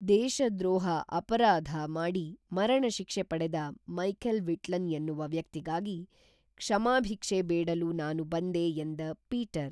ದೇಶ ದ್ರೋಹ ಅಪರಾಧ ಮಾಡಿ ಮರಣ ಶಿಕ್ಷೆ ಪಡೆದ ಮೈಖೇಲ್‌ ವಿಟ್ಲನ್ ಎನ್ನುವ ವ್ಯಕ್ತಿಗಾಗಿ ಕ್ಷಮಾಭಿಕ್ಷೆ ಬೇಡಲು ನಾನು ಬಂದೆ ಎಂದ ಪೀಟರ್